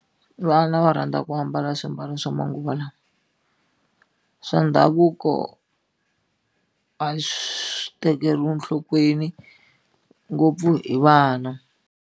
Vana va rhandza ku ambala swiambalo swa manguva lawa swa ndhavuko a swi tekeriwi nhlokweni ngopfu hi vana.